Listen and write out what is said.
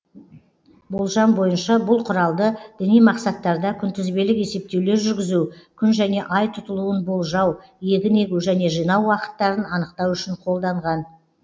болжам бойынша бұл құралды діни мақсаттарда күнтізбелік есептеулер жүргізу күн және ай тұтылуын болжау егін егу және жинау уақыттарын анықтау үшін қолданған